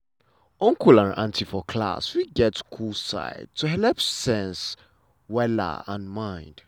uncle and auntie for class fit get cool side to helep sense um and mind.